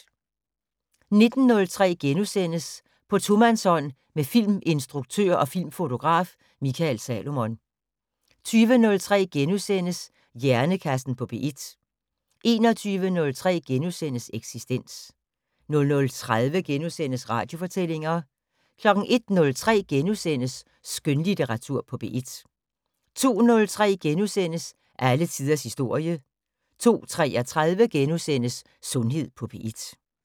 19:03: På tomandshånd med filminstruktør og -fotograf Mikael Salomon * 20:03: Hjernekassen på P1 * 21:03: Eksistens * 00:30: Radiofortællinger * 01:03: Skønlitteratur på P1 * 02:03: Alle tiders historie * 02:33: Sundhed på P1 *